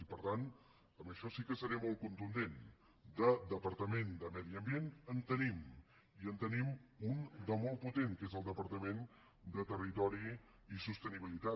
i per tant en això sí que seré molt contundent de departament de medi ambient en tenim i en tenim un de molt potent que és el departament de territori i sostenibilitat